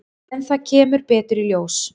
En það kemur betur í ljós.